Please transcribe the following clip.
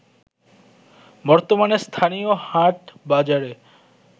বর্তমানে স্থানীয় হাটবাজারে